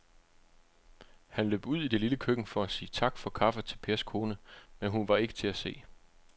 Han løb ud i det lille køkken for at sige tak for kaffe til Pers kone, men hun var ikke til at se.